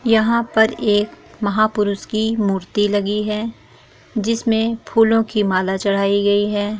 यहाँ पर एक महा पुरुष की मूर्ति लगी है जिस मे फूलों की माला चड़ाई गई है ।